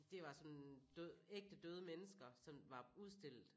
Det var sådan død ægte døde mennesker som var udstillet